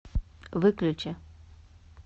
выключи